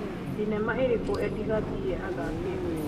thĩnema ĩrikũ Edie Gathie athakĩte